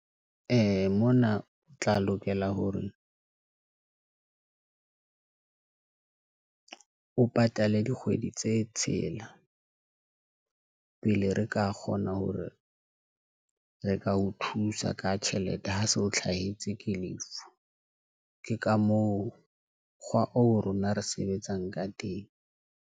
Ee, mona o tla lokela hore o patale dikgwedi tse tshelela pele, re ka kgona hore re ka o thusa ka tjhelete ho so hlahetswe ke lefu. Ke ka moo kgwa oo rona re sebetsang ka teng.